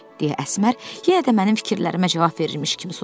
Deyə Əsmər yenə də mənim fikirlərimə cavab verirmiş kimi soruşdu.